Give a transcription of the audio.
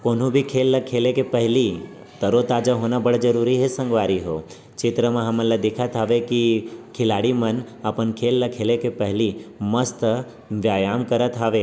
कोनो भी खेल ल खेले के पहली तरो ताजा होना भी बड़ जरूरी हे संगवारी हो चित्र म हमन ल दिखत हवे की खिलाड़ी मन अपन खेल ल खेले के पहली मस्त व्यायाम करत हवे।